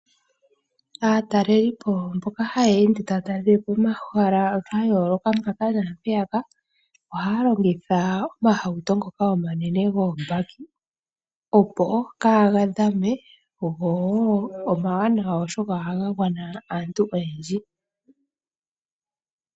Aatalelipo mboka hayeende taya talele po omahala ga yooloka mpaka naampeyaka ohaya longitha omahauto ngoka omanene goobaki opo kaaga dhame , gowo omawanawa oshoka ohaga gwana aantu ooyendji.